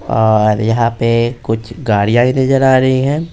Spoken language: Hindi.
और यहां पे कुछ गाड़ियां ही नजर आ रही हैं।